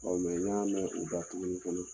n ɲa mɛn u da tuguni fana